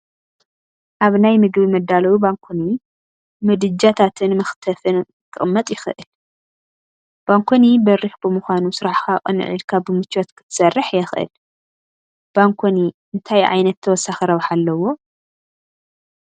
ኣብ ናይ ምግቢ መዳለዊ ባንኮኒ ምድጃታትን መኽተፍን ክቕመጥ ይኽእል፡፡ ባንኮኒ በሪኽ ብምዃኑ ስራሕኻ ቅንዕ ኢልካ ብምቾት ክትሰርሕ የኽእል፡፡ ባንኮኒ እንታይ ዓይነት ተወሳኺ ረብሓ ኣለዎ?